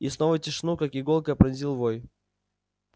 и снова тишину как иголкой пронзил вой